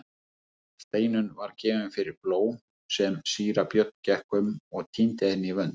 Steinunn var gefin fyrir blóm svo síra Björn gekk um og tíndi henni í vönd.